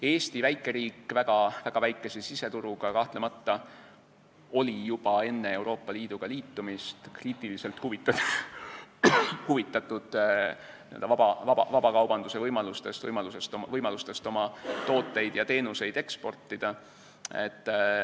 Eesti, väikeriik väga väikese siseturuga, oli kahtlemata juba enne Euroopa Liiduga liitumist kriitiliselt huvitatud vabakaubanduse võimalustest, võimalusest oma tooteid ja teenuseid eksportida.